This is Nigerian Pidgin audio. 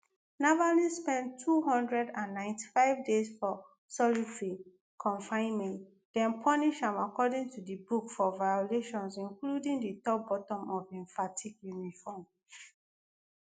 navalny spend two hundred and ninety-five days for solitary confinement dem punish am according to di book for violations including di top button of im fatigue uniform